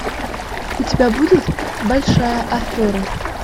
у тебя будет большая афера